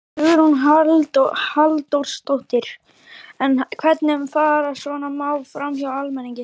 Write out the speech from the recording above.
Hugrún Halldórsdóttir: En hvernig fara svona mál framhjá almenningi?